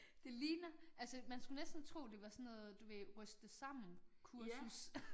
Det ligner altså man skulle næsten tro det var sådan noget du ved ryste sammen kursus